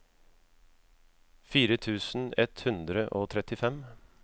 fire tusen ett hundre og trettifem